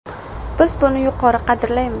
Biz buni yuqori qadrlaymiz.